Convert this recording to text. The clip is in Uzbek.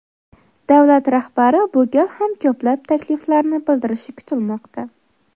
Davlat rahbari bu gal ham ko‘plab takliflarni bildirishi kutilmoqda.